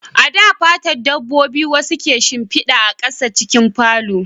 A da, fatan dabbobi wasu ke shimfida a ƙasa a cikin falo